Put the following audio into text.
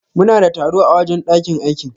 Muna da taro a wajen ɗakin aikin.